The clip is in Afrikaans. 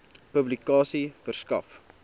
publikasie verskaf